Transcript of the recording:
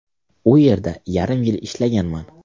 U yerda yarim yil ishlaganman.